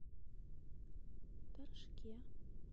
торжке